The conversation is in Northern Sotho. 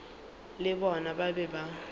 le bona ba be ba